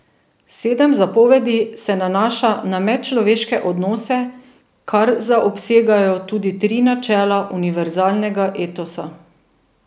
Sedem zapovedi se nanaša na medčloveške odnose, kar zaobsegajo tudi tri načela univerzalnega etosa.